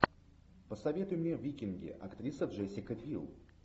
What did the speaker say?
посоветуй мне викинги актриса джессика бил